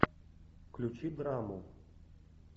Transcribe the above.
включи драму